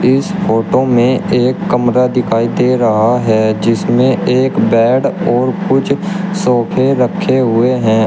इस फोटो में एक कमरा दिखाई दे रहा है जिसमें एक बेड और कुछ सोफे रखे हुए हैं।